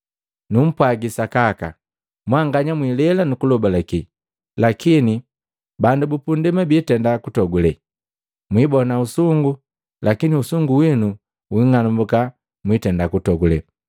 Numpwagi Sakaka, mwanganya mwilela nukulobalake, lakini bandu bupunndema biitenda kutogulela. Mwibona usungu lakini usungu winuu wing'anumbuka mwitenda kutogulela.